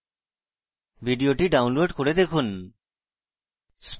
ভিডিওটি download করে দেখুন